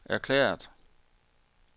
erklæret